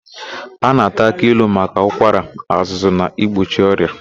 A na-ata aki ilu maka ụkwara, azụzụ na igbochi ọrịa.